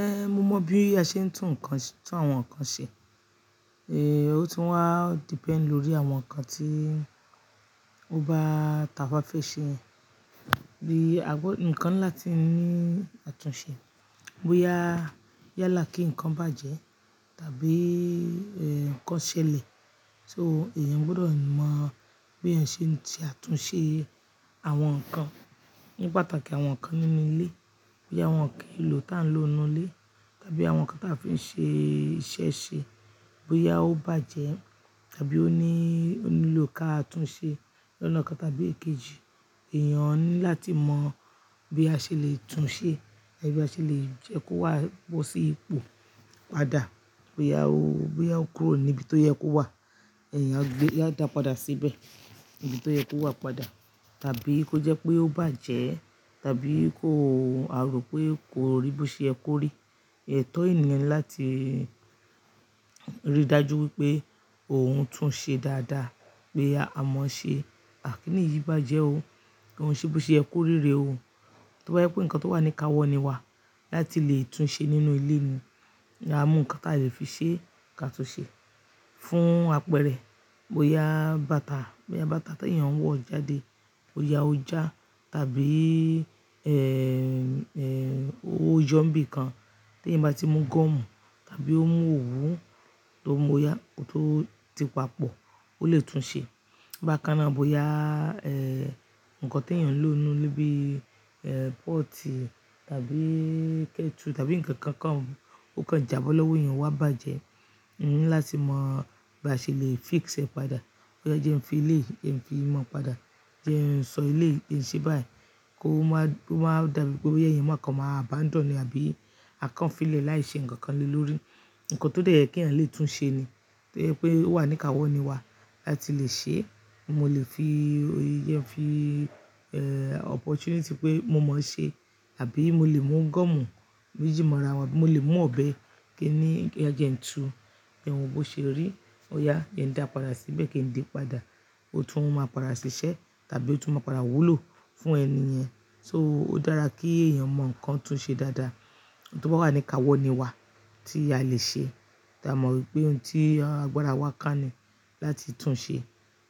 Eh, mo mọ bí a ṣe ń tún nǹkan, tún àwọn nǹkan ṣe. Eh, ó tún wá depend lórí àwọn nǹkan tí ó bá taba fe ṣe. Bí àgbo, ǹkan ńlá tí ń ní àtúnṣe. Bóyá yálà kí nǹkan bàjẹ́ tàbí eh, ǹkan ṣẹlẹ̀. So èèyàn gbọdọ̀ mọ bí ẹyan ṣe ń tì àtúnṣe àwọn nǹkan. Ni pàtàkì àwọn nǹkan nínú ilé. Bóyá wọn ki n'lò tí à ń lò nínú ilé, tàbí àwọn nǹkan tí a fi ń ṣe iṣẹ́ ṣe. Bóyá ó bàjẹ́ tàbí ó ní, ó nílò ká tún ṣe lọ́nà kan tàbí èkejì. Ẹ̀yàn ní láti mọ bí a ṣe lè tún ṣe tàbí a ṣe lè jẹ́ kó wá bo sí ipò padà. Bóyá ó, bóyá ó kúrò ní ibi tó yẹ kó wà. Ẹ̀yàn á gbé, á dà padà síbẹ̀ níbi tó yẹ kó wà padà. Tàbí kó jẹ́ pé ó bàjẹ́, tàbí kó a rò pé kò rí bí ṣe ẹ korí. Ẹ̀ tọ́ ènìyàn láti rí dájú wípé òun tún ṣe dáadáa. Pé a mọ ṣe àkíníyí bàjẹ́ o. Ko n ṣébó ṣe ẹ koríre o. Tóbá jẹ pé nǹkan tó wà ní káwọnìwa láti lè tún ṣe nínú ilé ni. A mú nǹkan tí a lè fi ṣe ká tún ṣe. Fún apẹ̀rẹ̀ bóyá bàtà, bóyá bàtà tí èèyàn wọ̀ jáde. Bóyá ó já tàbí eh, eh, ó yọ́ nbí kan tí ẹn bá ti mú gọ́mù tàbí ó mú òwú tó móyà tó ti papọ̀. Ó lè tún ṣe. Bákan náà bóyá eh, ǹkan tí èèyàn ń lò nínú ilé bí eh, pọ́ọ̀tì tàbí kẹ́tù tàbí ǹkan kankan mú, ó kan jabọ́ lọ́wọ́ èèyàn wá bàjẹ́. Ẹ ní láti mọ bí a ṣe lè fix ẹ padà. Bóyá jẹ́ ẹ fi ilé, jẹ fi imọ padà. Jẹ́ ẹ ń sọ elé jẹ ṣe báyìí. Kó má, kó má dàbí pé boya eyan má kàn má abandon e àbí a kàn fi lè láì ṣe ǹkan kan lórí nǹkan tó jẹ́ pé kí ẹn lè tún ṣe ni. Tó jẹ́ pé ó wà ní káwọnìwa láti lè ṣe. Mo lè fi, jẹ fi eh, opportunity pé mo mọ ṣe àbí mo lè mú gọ́mù méjì mọ́ra wọn. Mo lè mú ọ̀bẹ kí ẹ ní, kí ẹ jẹ n tu. Ẹ wo bó ṣe rí. Ó yá jẹ n dà padà síbẹ̀ kí ń di padà. Ó tún máa padà ṣiṣẹ́ tàbí ó tún máa padà wúlò fún ẹni yẹn. So ó dára kí èèyàn mọ ǹkan tún ṣe dáadáa. Tóbá wà ní káwọnìwa tí a lè ṣe. Ta a mọ wípé ohun tí agbára wa ká ni láti tún ṣe.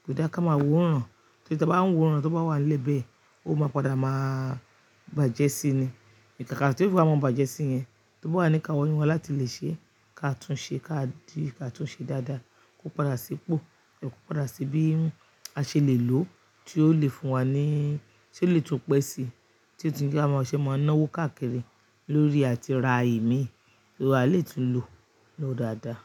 Kò dá ká má wo'oran. Tí a bá ń wo'oran, tí ó bá wà nílé bẹ́ẹ̀, ó máa padà má bàjẹ́ sí ni. Ìkàkà tí ó fi máa ń bàjẹ́ sí yẹn, tóbá wà ní káwọnìwa láti lè ṣe ká tún ṣe ká di ká tún ṣe dáadáa. Kó padà sí ipò, kó padà sí bí a ṣe lè lò ó tí ó lè fún wa ní, tí ó lè tún pẹ́ si. Tí ó tún jẹ́ ká má ṣe mọ́ náwó káàkiri lórí àti ra ìmí. So a lè tún lò ó dáadáa.